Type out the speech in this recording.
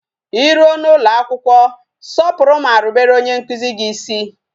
I ruo n'ụlọ akwụkwọ, sọpụrụ ma rubere onye nkuzi gị isi